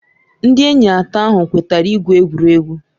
Ndị enyi atọ ahụ kwetara igwu egwuregwu.